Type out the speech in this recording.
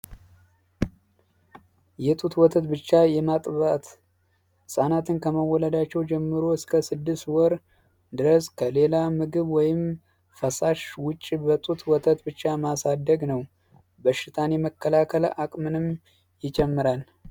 የጡት ወተት ብቻ የማጥባት ህጻናት ከመወለዳቸው ጀምሮ እስከ ስድስት ወር ድረስ በጡት ወይም ፈሳሽ ወተት በጡት ብቻ ማሳደግ ነው በሽታን የመከላከል አቅምንም ይጨምራል።